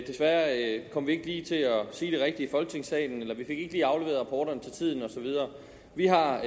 desværre kom vi ikke lige til at sige det rigtige i folketingssalen eller vi fik ikke lige afleveret rapporterne til tiden og så videre vi har